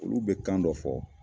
Olu be kan dɔ fɔ